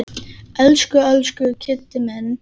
Elsku, elsku Kiddi minn.